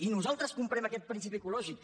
i nosaltres comprem aquest principi ecològic